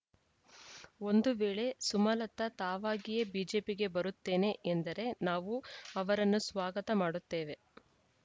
ಒಂದು ವೇಳೆ ಸುಮಲತಾ ತಾವಾಗಿಯೇ ಬಿಜೆಪಿಗೆ ಬರುತ್ತೇನೆ ಎಂದರೆ ನಾವು ಅವರನ್ನು ಸ್ವಾಗತ ಮಾಡುತ್ತೇವೆ